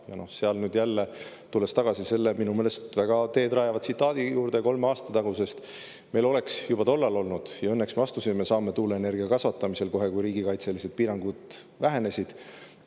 Ja kui nüüd jälle tulla selle minu meelest väga teedrajava tsitaadi juurde kolme aasta tagusest ajast, siis meil oleks juba tollal tulnud seda teha ja õnneks me astusime samme tuuleenergia kasvatamiseks kohe, kui riigikaitselised piirangud vähenesid.